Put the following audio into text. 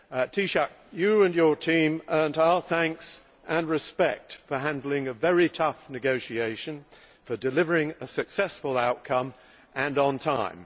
Taoiseach, you and your team earned our thanks and respect for handling a very tough negotiation, and for delivering a successful outcome on time.